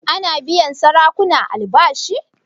Ana biyan sarakuna albashi?